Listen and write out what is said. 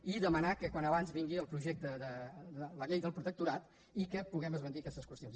i de·manar que vingui com abans millor la llei del protecto·rat i que puguem esbandir aquestes qüestions